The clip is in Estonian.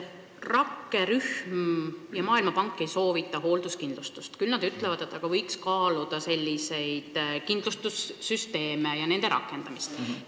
Rakkerühm ja Maailmapank ei soovita hoolduskindlustust, küll aga ütlevad nad, et võiks kaaluda kindlustussüsteemide rakendamist.